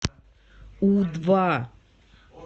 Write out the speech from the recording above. у два